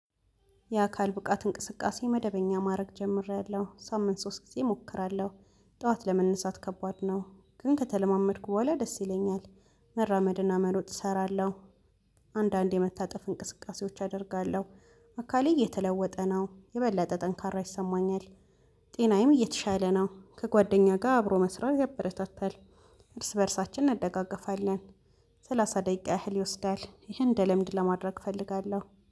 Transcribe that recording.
የአካል ብቃት እንቅስቃሴ መደበኛ ማድረግ ጀምሬያለሁ። ሳምንት ሶስት ጊዜ እሞክራለሁ ጠዋት ለመነሳት ከባድ ነው። ግን ከተለማመድኩ በኋላ ደስ ይለኛል። መራመድና መሮጥ እሰራለሁ አንዳንዴ መታጠፍ እንቅስቃሴዎች አደርጋለሁ። አካሌ እየተለወጠ ነው የበላጠ ጠንካራ ይሰማኛል። ጤናዬም እየተሻለ ነው። ከጓደኛ ጋር አብሮ መስራት ያበረታታል እርስ በእርሳችን እንደጋገፋለን። ሰላሳ ደቂቃ ያህል ይወስዳል። ይህን እንደልምድ ለማድረግ እፈልጋለሁ።